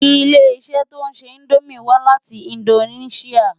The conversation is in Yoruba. Ilé-iṣè tó nṣé Indómi wá láti Indóniṣiá